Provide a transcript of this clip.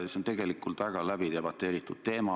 See on tegelikult väga läbidebateeritud teema.